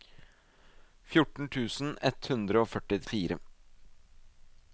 fjorten tusen ett hundre og førtifire